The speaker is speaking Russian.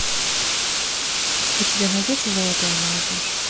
у тебя найдется золотая молодежь